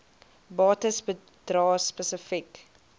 bates bedrae spesifiek